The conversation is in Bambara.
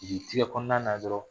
jigitigɛ kɔnɔna na dɔrɔn